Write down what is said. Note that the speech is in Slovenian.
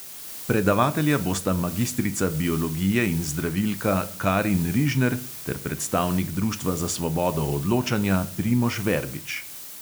Predavatelja bosta magistrica biologije in zdravilka karin rižner ter predstavnik društva za svobodo odločanja primož verbič.